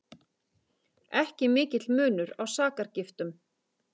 Ekki mikill munur á sakargiftum